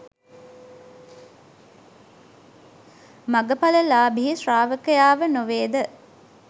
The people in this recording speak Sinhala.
මඟඵල ලාභී ශ්‍රාවකයාව නෙවේද?